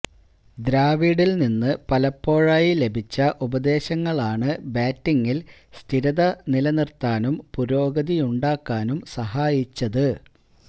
ദ്രാവിഡില്നിന്ന് പലപ്പോഴായി ലഭിച്ച ഉപദേശങ്ങളാണ് ബാറ്റിങ്ങില് സ്ഥിരത നിലനിര്ത്താനും പുരോഗതിയുണ്ടാക്കാനും സഹായിച്ചത്